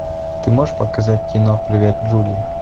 ты можешь показать кино привет джули